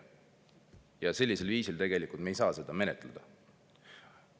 Ja sellisel viisil me ei saa seda menetleda.